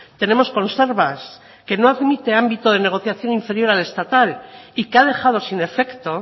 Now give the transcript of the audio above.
tenemos conservas que no admite ámbito de negociación inferior al estatal y que ha dejado sin efecto